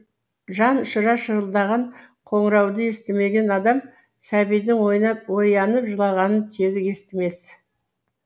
жан ұшыра шырылдаған қоңырауды естімеген адам сәбидің оянып жылағанын тегі естімес